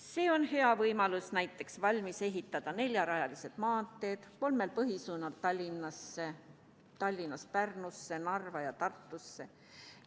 See on hea võimalus valmis ehitada näiteks neljarajalised maanteed kolmel põhisuunal: Tallinnast Pärnusse, Narva ja Tartusse.